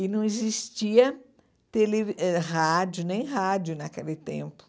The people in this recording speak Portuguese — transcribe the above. E não existia televi eh rádio, nem rádio naquele tempo.